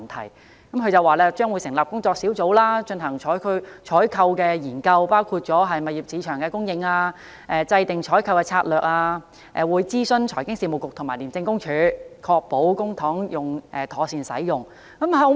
她表示，政府將會成立工作小組進行採購研究，包括探討物業市場的供應、制訂採購的策略，並會諮詢財經事務及庫務局和廉政公署，確保公帑妥善使用。